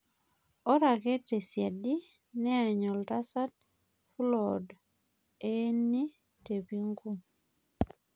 Ero ake tesiadi niany Oltasat fulod eeni tepinku